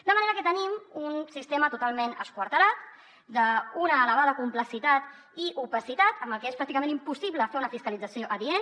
de manera que tenim un sistema totalment esquarterat d’una elevada complexitat i opacitat amb el que és pràcticament impossible fer una fiscalització adient